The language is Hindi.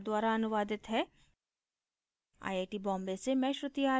यह स्क्रिप्ट प्रभाकर द्वारा अनुवादित है आई आई टी बॉम्बे से मैं श्रुति आर्य अब आपसे विदा लेती हूँ